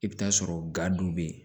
I bɛ taa sɔrɔ ga don be yen